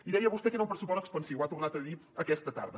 i deia vostè que era un pressupost expansiu ho ha tornat a dir aquesta tarda